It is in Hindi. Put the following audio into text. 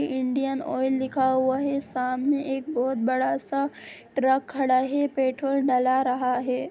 ये इंडियन ऑइल लिखा हुआ है| ये सामने एक बहुत बड़ा सा ट्रक खड़ा है। पेट्रोल डला रहा है|